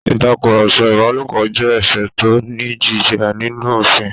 Ìtakùrọ̀sọ ìbálòpọ̀ jẹ́ ẹ̀ṣẹ̀ tó ní ìjìyà nínú òfin